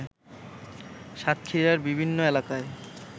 সাতক্ষীরার বিভিন্ন এলাকায়